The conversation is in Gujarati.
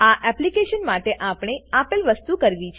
આ એપ્લીકેશન માટે આપણે આપેલ વસ્તુ કરવી છે